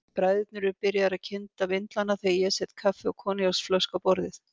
Bræðurnir eru byrjaðir að kynda vindlana þegar ég set kaffi og koníaksflösku á borðið.